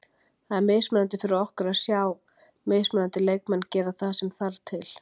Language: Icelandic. Það er mikilvægt fyrir okkur að sjá mismunandi leikmenn gera það sem þarft til.